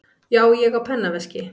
Já, ég á pennaveski.